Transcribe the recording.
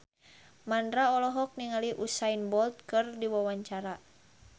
Mandra olohok ningali Usain Bolt keur diwawancara